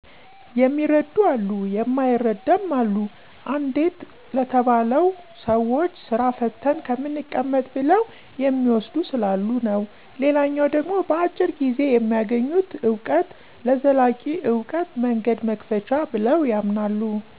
የሚረዱ አሉ የማይረድም አሉ፤ አንዴት ለተባለው ሰዎች ስራ ፈተን ከምንቀመጥ ብለው የሚዎስዱ ስላሉ የዉ። ሌላኛች ደሞ በአጭር ጊዜ በሚያገኙት አውቀት ለዘላቂ አውቀት መንገድ መክፈቻ ብለው ያምናሉ።